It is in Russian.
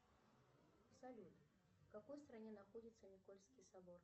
салют в какой стране находится никольский собор